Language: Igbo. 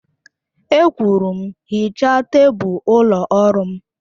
E kwuru m, hichaa tebụl ụlọ ọrụ m!